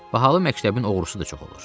Bahalı məktəbin oğrusu da çox olur.